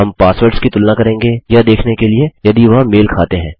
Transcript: हम पासवर्ड्स की तुलना करेंगे यह देखने के लिए यदि वह मेल खाते हैं